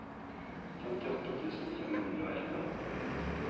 femtiåtte tusen fem hundre og elleve